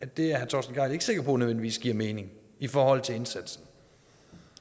det er herre torsten gejl ikke sikker på nødvendigvis giver mening i forhold til indsatsen